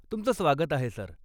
तुमचं स्वागत आहे सर.